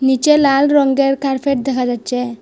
নীচে লাল রঙ্গের কার্পেট দেখা যাচ্চে।